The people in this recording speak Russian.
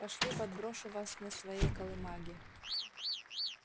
пошли подброшу вас на своей колымаге